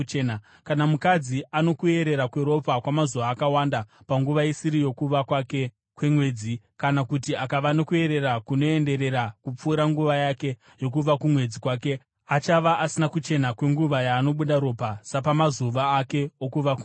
“ ‘Kana mukadzi ano kuerera kweropa kwamazuva akawanda panguva isiri yokuva kwake kumwedzi, kana kuti akava nokuerera kunoenderera kupfuura nguva yake yokuva kumwedzi kwake, achava asina kuchena kwenguva yaanobuda ropa sapamazuva ake okuva kumwedzi.